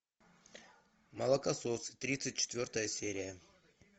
молокососы тридцать четвертая серия